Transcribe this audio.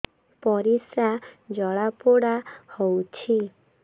ପରିସ୍ରା ଜଳାପୋଡା ହଉଛି